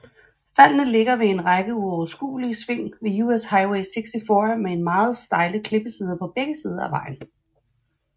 Faldene ligger ved en række uoverskuelige sving på US Highway 64 med meget stejle klippesider på begge sider af vejen